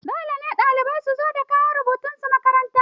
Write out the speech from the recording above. Dole ne ɗalibai su zo da kayan rubutunsu makaranta.